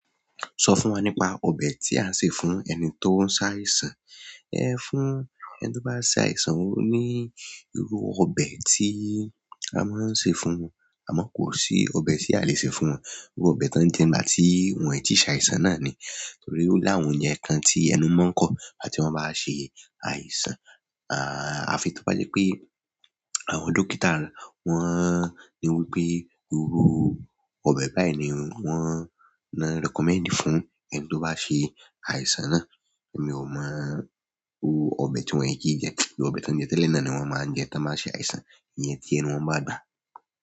Sọ fún wa nípa ọbẹ̀ tí à á sè fún ẹni tó ń ṣàìsàn. Ẹ fún ẹni tó bá ṣàìsàn, ó ní irú ọbẹ̀ tí a máa ń sè fún un. Àmọ́ kò sí ọbẹ̀ tí a le sè fún wọn. Irú ọbẹ̀ tó ń jẹ nígbà tí wọ́n ì tíì ṣàìsàn náà ni. Torí ó láwọn ìyẹn kan tí ẹnu máa ń kọ̀ ìgbà tí wọ́n bá ṣe àìsàn. À, àfi tó bá jẹ́ pé àwọn dókítà wọ́n ní wípé irú ọbẹ̀ báyìí ni wọ́n ná recommend fún ẹni tó bá ṣe àìsàn náà. Èmi ò mọ irú ọbẹ̀ tí wọ́n ì kí jẹ, irú ọbẹ̀ tí wọ́n jẹ tẹ́lẹ̀ náà ni wọ́n máa ń jẹ tí wọ́n bá ṣe àìsàn. Ìyẹn tí ẹnu wọ́n bá gbà á.